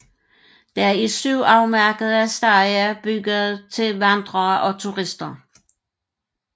Der er syv afmærkede stier bygget til vandrere og turister